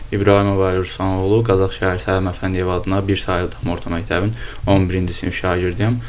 İbrahimov Əli Ruslan oğlu, Qazax şəhər Səhəd Məhəmməd Əfəndiyev adına bir saylı tam orta məktəbin 11-ci sinif şagirdiyəm.